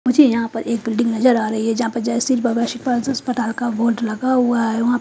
मुझे यहाँ पर एक बिल्डिंग नज़र आ रही है जहा पर जय श्री अस्पताल का बोर्ड लगा हुआ है औ --